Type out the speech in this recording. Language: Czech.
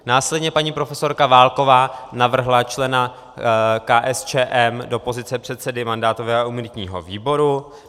Následně paní profesorka Válková navrhla člena KSČM do pozice předsedy mandátového a imunitního výboru.